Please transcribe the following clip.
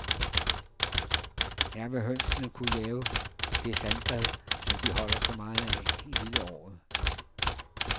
Her vil hønsene kunne lave det sandbad, som de holder så meget af hele året.